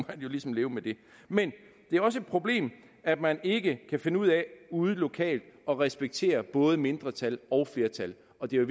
man jo ligesom leve med det men det er også et problem at man ikke kan finde ud af ude lokalt at respektere både mindretal og flertal og det er